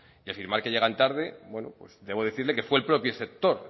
y afirmar que llegan tarde bueno debo decirle que fue el propio sector